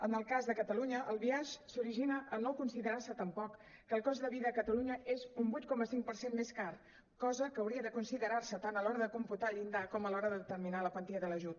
en el cas de catalunya el biaix s’origina a no considerar se tampoc que el cost de vida a catalunya és un vuit coma cinc per cent més car cosa que hauria de considerar se tant a l’hora de computar el llindar com a l’hora de determinar la quantia de l’ajut